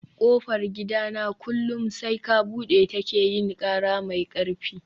kofar gidana kullum sai ka bude ta ke yin kara mai karfi